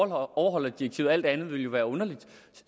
at overholde direktivet alt andet ville jo være underligt